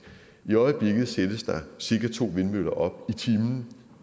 i øjeblikket sættes der cirka to vindmøller op i timen